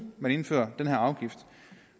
man indfører den her afgift